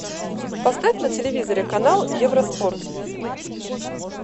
поставь на телевизоре канал евроспорт